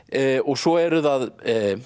svo eru það